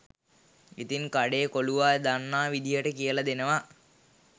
ඉතින් කඩේ කොලුවා දන්නා විදියට කියල දෙනවා